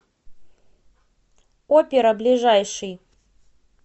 опера ближайший